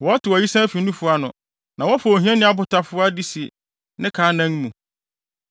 Wɔtew ayisaa fi nufu ano; na wɔfa ohiani abotafowa de si ne ka anan mu.